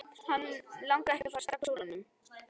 Hann langaði ekki að fara strax úr honum.